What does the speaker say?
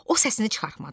O səsini çıxartmadı.